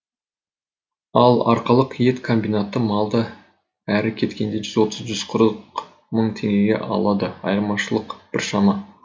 ал арқалық ет комбинаты малды әрі кеткенде жүз отыз жүз қырық мың теңгеге алады айырмашылық біршама